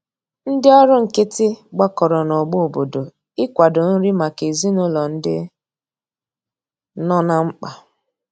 Ndi ọrụ nkiti gbakọrọ na ogbo obodo ị kwado nri maka ezinulo ndi nọ na mkpa